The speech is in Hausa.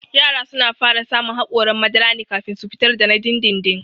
Yara suna fara samun haƙoran madara ne kafin su fitar da na dindindin